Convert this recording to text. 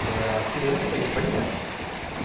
Agora, cinema também, a gente vai demais, uhum.